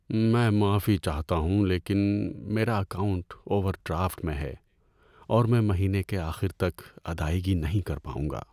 میں معافی چاہتا ہوں لیکن میرا اکاؤنٹ اوور ڈرافٹ میں ہے اور میں مہینے کے آخر تک ادائیگی نہیں کر پاؤں گا۔